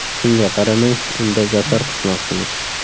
Shunga qaramay unda zafar quchmoqchimiz.